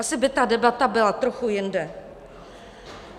Asi by ta debata byla trochu jinde.